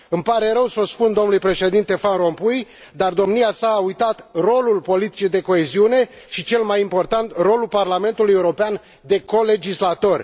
Îmi pare rău să i spun dlui președinte Van Rompuy, dar domnia sa a uitat rolul politicii de coeziune și, cel mai important, rolul Parlamentului European de colegislator.